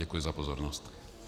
Děkuji za pozornost.